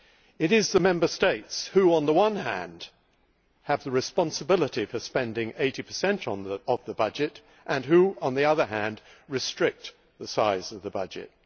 It is the Member States who, on the one hand, have the responsibility for spending 80 of the budget and who, on the other hand, restrict the size of the budget.